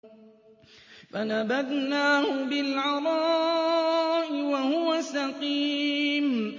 ۞ فَنَبَذْنَاهُ بِالْعَرَاءِ وَهُوَ سَقِيمٌ